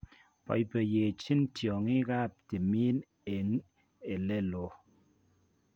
Boiboiyenchin tiongik ab timin eng' eleloo